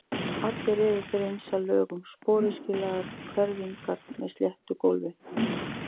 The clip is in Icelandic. Allir eru þeir eins að lögun, sporöskjulagaðar hvelfingar með sléttu gólfi.